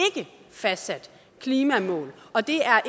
fastsat klimamål og det er